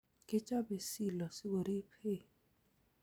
Kechobei silo sikoriib hay